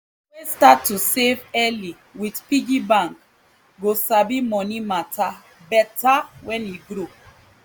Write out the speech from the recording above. pikin wey start to save early with piggy bank go sabi money matter better when e grow